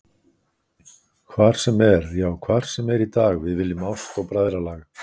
Hvar sem er, já hvar sem er í dag við viljum ást og bræðralag.